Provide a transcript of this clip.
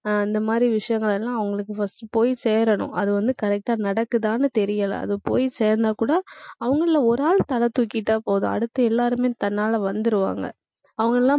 அஹ் இந்த மாதிரி விஷயங்கள் எல்லாம், அவங்களுக்கு first போய் சேரணும். அது வந்து correct ஆ நடக்குதான்னு தெரியல. அது போய் சேர்ந்தா கூட, அவங்கள்ல ஒரு ஆள் தலை தூக்கிட்டா போதும் அடுத்து எல்லாருமே தன்னால வந்துருவாங்க, அவங்கெல்லாம்